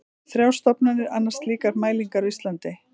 Þrjár stofnanir annast slíkar mælingar á Íslandi.